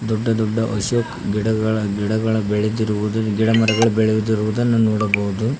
ದೊಡ್ಡ ದೊಡ್ಡ ಅಶೋಕ್ ಗಿಡಗಳ ಗಿಡಗಳ ಬೆಳೆತಿರುವುದು ಗಿಡ ಮರಗಳ ಬೆಳೆಯುತ್ತಿರುವುದನ್ನು ನೋಡಬಹುದು.